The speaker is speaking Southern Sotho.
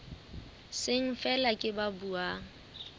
seng feela ke ba buang